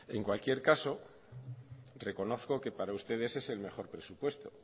en cualquier caso reconozco que para ustedes es el mejor presupuesto